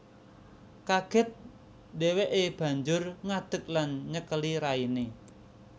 Kaget dheweke banjur ngadek lan nyekeli raine